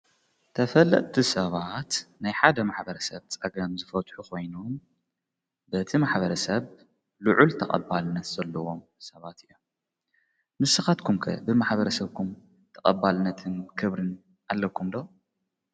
ተፈልቲ ሰባት ናይ ሓደ ማኅበረ ሰብ ጸገም ዘፈትሑ ኾይኑን በቲ ማኅበረ ሰብ ልዑ ል ተቐባልነት ዘለዎም ሰባት እዮ ንስኻትኩምከ ብማኅበረ ሰብኩም ተቐባልነትን ክብርን ኣለኩምዶ?